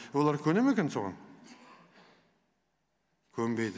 олар көне ме екен соған көнбейді